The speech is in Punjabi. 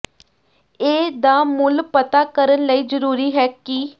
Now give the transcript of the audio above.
ਇਹ ਦਾ ਮੁੱਲ ਪਤਾ ਕਰਨ ਲਈ ਜ਼ਰੂਰੀ ਹੈ ਕਿ